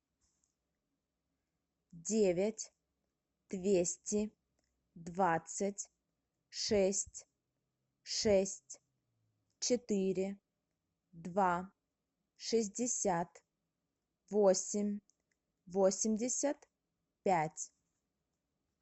девять двести двадцать шесть шесть четыре два шестьдесят восемь восемьдесят пять